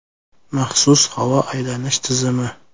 Maxsus havo aylanish tizimi.